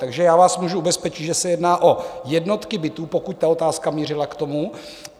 Takže já vás můžu ubezpečit, že se jedná o jednotky bytů, pokud ta otázka mířila k tomu.